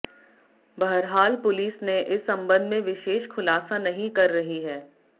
बहरहाल पुलिस इस संबंध में विशेष खुलासा नहीं कर रही है